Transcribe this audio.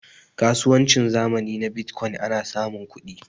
kasuwancin zamani na bitcokyin ana samun kudi